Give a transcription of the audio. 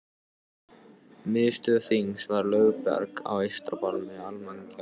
Miðstöð þingsins var Lögberg á eystra barmi Almannagjár.